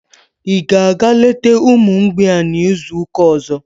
Ị ga-aga leta ụmụ mgbei n'izu ụka ọzọ?